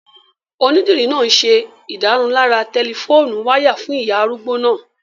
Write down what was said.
Onídìrí náà n ṣe ìdárunlárà tẹlifóònù wáyà fún ìyá arúgbó náà